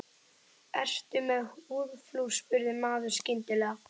Ertu með húðflúr? spurði maðurinn skyndilega.